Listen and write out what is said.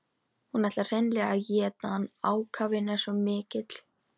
Hún ætlar hreinlega að éta hann, ákafinn er svo mikill.